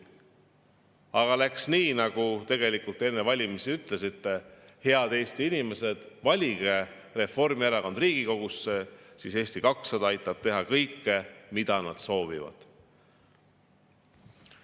Aga läks nii, nagu te enne valimisi ütlesite: head Eesti inimesed, valige Reformierakond Riigikogusse, siis Eesti 200 aitab teha kõike, mida nad soovivad.